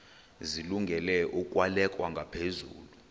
zilungele ukwalekwa ngaphezulu